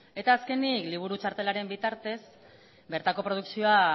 eta azkenik liburu txartelaren bitartez bertako produkzioa